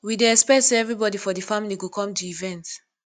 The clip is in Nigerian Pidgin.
we dey expect sey everybodi for di family go come di event